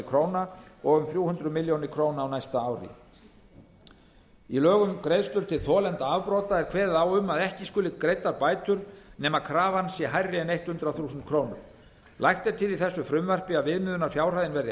króna og um þrjú hundruð milljóna króna á næsta ári í lögum um greiðslur til þolenda afbrota er kveðið á um að ekki skuli greiddar bætur nema krafan sé hærri en hundrað þúsund krónur lagt er til í þessu frumvarpi að viðmiðunarfjárhæðin verði